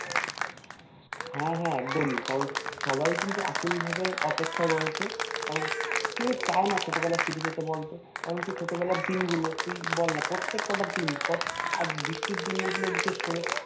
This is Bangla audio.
হ্যাঁ হ্যাঁ একদমই কারণ সবাই কিন্তু আকুল ভাবে অপেক্ষায় রয়েছে কারন কে চায়না ছোটবেলায় ফিরে যেতে বলতো কারণ সে ছোটবেলার দিনগুলো তুই বলনা প্রত্যেক কটা দিন আর বৃষ্টির দিনগুলো বিশেষ করে